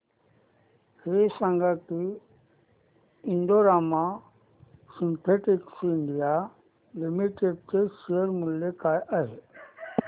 हे सांगा की Indo Rama synthetics India limited चे शेअर मूल्य काय आहे